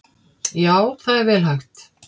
Já það er vel hægt.